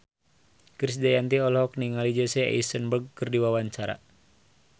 Krisdayanti olohok ningali Jesse Eisenberg keur diwawancara